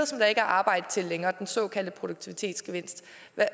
som der ikke er arbejde til længere af den såkaldte produktivitetsgevinst